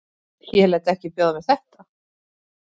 Ég læt ekki bjóða mér þetta.